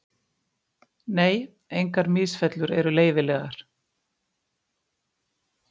Nei, engar misfellur eru leyfilegar.